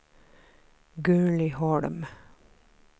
Gurli Holm